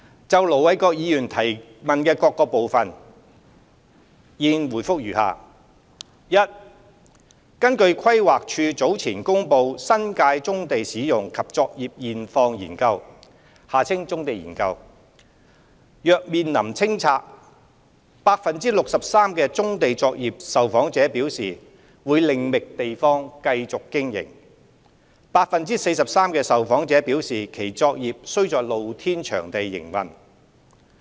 就盧偉國議員提問的各個部分，現回覆如下：一根據規劃署早前公布《新界棕地使用及作業現況研究》，若面臨清拆 ，63% 棕地作業受訪者表示會另覓地方繼續經營 ，43% 受訪者表示其作業需在露天場地營運。